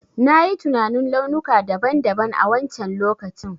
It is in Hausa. Na yi tinanin launuka daban daban a wancen lokacin.